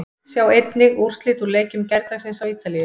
Sjá einnig: Úrslit úr leikjum gærdagsins á Ítalíu